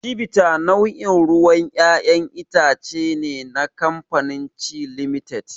Chivita nau'in ruwan ƴaƴan itace ne na kamafanin Chi Limited.